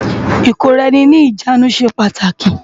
IKóráèni ni ijánú sé pàtáki